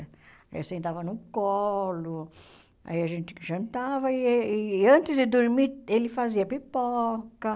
Eu sentava no colo, aí a gente jantava e, antes de dormir, ele fazia pipoca.